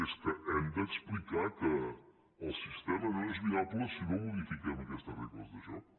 és que hem d’explicar que el sistema no és viable si no modifiquem aquestes regles de joc